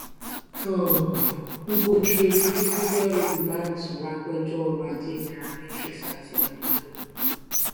um ugodre obichukwu jẹ olùbánisọrọ apèjọ ọrọajé nairametrics àti ànfààní wọn